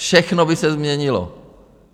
Všechno by se změnilo.